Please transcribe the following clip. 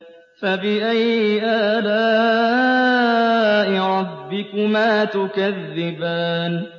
فَبِأَيِّ آلَاءِ رَبِّكُمَا تُكَذِّبَانِ